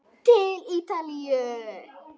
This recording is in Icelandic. Til Ítalíu!